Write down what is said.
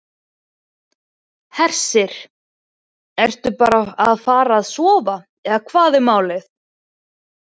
Hersir: Ertu bara að fara að sofa eða hvað er málið?